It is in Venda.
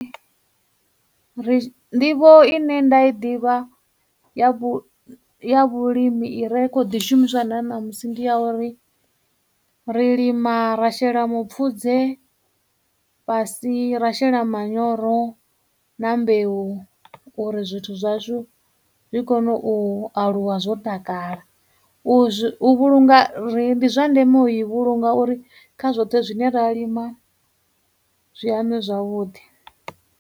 Ri, nḓivho ine nda i ḓivha ya vhu ya vhulimi i re khou ḓi shumiswa na ṋamusi ndi ya uri ri lima ra shela mupfudze fhasi, ra shela manyoro, na mbeu uri zwithu zwashu zwi kone u aluwa zwo takala. U zwi, u vhulunga ri, ndi zwa ndeme u i vhulunga uri kha zwoṱhe zwine ra lima zwi anwe zwavhuḓi.